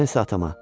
Mən isə atama.